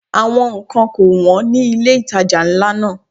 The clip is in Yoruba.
Àwọn ǹkan kò wón ní ilé ìtajà ńlá náà.